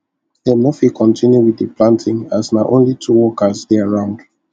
dem no fit continue with the planting as na only two workers dey around